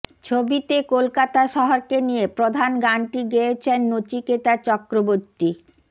ছবিতে কলকাতা শহরকে নিয়ে প্রধান গানটি গেয়েছেন নচিকেতা চক্রবর্তী